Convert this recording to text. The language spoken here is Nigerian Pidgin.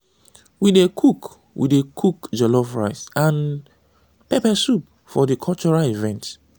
we dey cook we dey cook jollof rice and pepper soup for di cultural event.